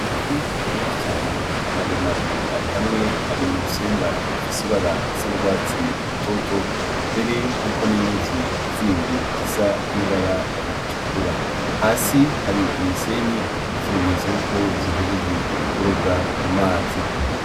Mafi mese cane maremare ari hamwe ari mu rusenga rufise ibara risa ndwatsi i rutoto mbere hariko n'inyuzi zindi zisa n'ibara ritukura hasi hari imisenyi nk'ikimenyetso yuko zihejejwe kuroga mu mazi.